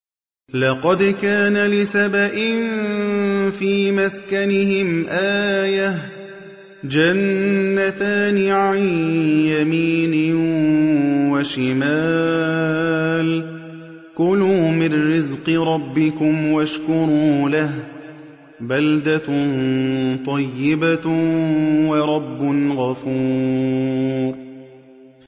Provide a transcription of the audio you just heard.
لَقَدْ كَانَ لِسَبَإٍ فِي مَسْكَنِهِمْ آيَةٌ ۖ جَنَّتَانِ عَن يَمِينٍ وَشِمَالٍ ۖ كُلُوا مِن رِّزْقِ رَبِّكُمْ وَاشْكُرُوا لَهُ ۚ بَلْدَةٌ طَيِّبَةٌ وَرَبٌّ غَفُورٌ